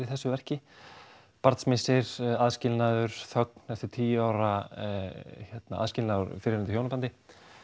þessu verki aðskilnaður þögn eftir tíu ára aðskilnað úr fyrrverandi hjónabandi